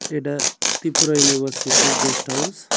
এটা ত্রিপুরা ইউনিভার্সিটির guest house.